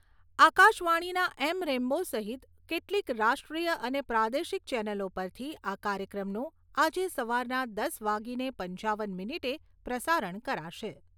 આકાશવાણીના એમ રેન્બો સહિત કેટલીક રાષ્ટ્રીય અને પ્રાદેશિક ચેનલો પરથી આ કાર્યક્રમનું આજે સવારના દસ વાગીને પંચાવન મિનીટે પ્રસારણ કરાશે.